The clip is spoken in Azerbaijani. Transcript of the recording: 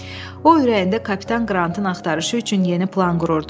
O ürəyində kapitan Qrantın axtarışı üçün yeni plan qururdu.